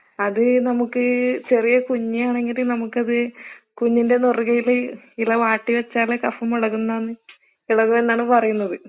അത് നമുക്ക് ചെറിയ കുഞ്ഞാണെങ്കില് നമുക്കത് കുഞ്ഞിൻ്റെ നിറുകയില് ഇല വാട്ടി വെച്ചാല് കഫം ഇളകുംന്നാണ് ഇളകുമെന്നാണ് പറയുന്നത്.